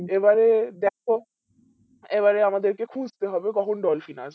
এবারে দেখো এবারে আমাদের কে খুজতে হবে কখন ডলফিন আসবে